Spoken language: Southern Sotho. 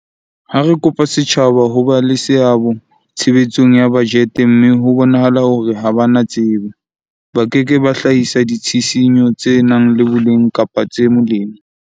Ha re kopa setjhaba ho ba le seabo tshebetsong ya bajete mme ho bonahala hore ha ba na tsebo, ba ke ke ba hlahisa ditshisinyo tse nang le boleng kapa tse molemo.